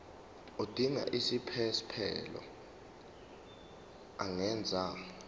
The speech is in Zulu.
odinga isiphesphelo angenza